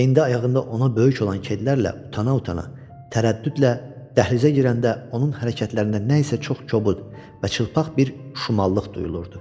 Və indi ayağında ona böyük olan kedlərlə utana-utana, tərəddüdlə dəhlizə girəndə onun hərəkətlərində nə isə çox kobud və çılpaq bir şumallıq duyulurdu.